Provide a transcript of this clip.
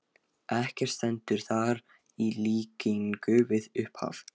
Ekkert stendur þar í líkingu við upphaf